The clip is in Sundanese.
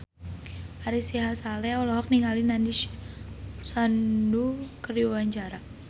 Ari Sihasale olohok ningali Nandish Sandhu keur diwawancara